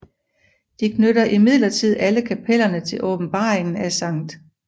De knytter imidlertid alle kapellerne til åbenbaringer af St